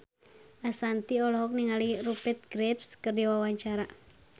Ashanti olohok ningali Rupert Graves keur diwawancara